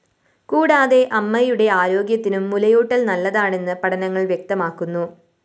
കൂടാതെ അമ്മയുടെ ആരോഗ്യത്തിനും മുലയൂട്ടല്‍ നല്ലതാണെന്ന് പഠനങ്ങള്‍ വ്യക്തമാക്കുന്നു